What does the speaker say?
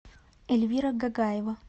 эльвира гагаева